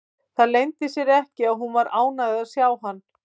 Það leyndi sér ekki að hún var ánægð að sjá hann.